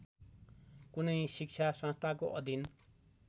कुनै शिक्षासंस्थाको अधीन